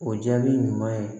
O jaabi ɲuman ye